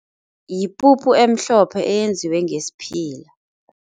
Yipuphu emhlophe eyenziwe ngesiphila.